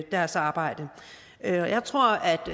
deres arbejde jeg tror at